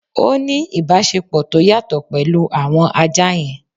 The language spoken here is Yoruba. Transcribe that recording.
Ó ní ìbáṣepọ̀ tó yàtọ̀ pẹ̀lú àwọn ajá yẹn